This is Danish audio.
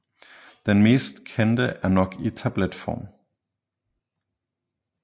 Den mest kendte er nok i tabletform